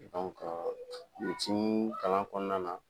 dɔnku petii kalan kɔnɔna na